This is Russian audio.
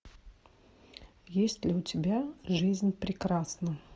есть ли у тебя жизнь прекрасна